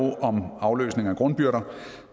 om afløsning af grundbyrder